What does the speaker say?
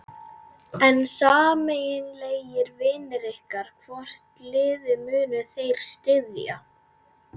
En sameiginlegir vinir ykkar, hvort liðið munu þeir styðja?